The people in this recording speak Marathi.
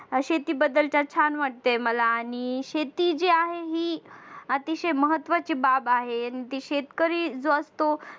शेती बद्दलच्या छान वाटते मला आणि शेती जी आहे ही अतिशय महत्त्वाची बाब आहे आणि ते शेतकरी जो असतो